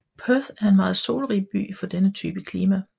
Perth er en meget solrig by for denne type klima